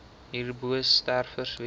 hierbo sterftes weens